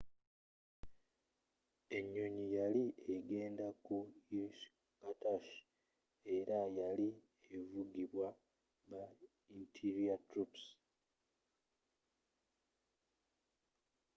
enyonyi yali egenda ku irkutsk era yali evugibwa ba interior troops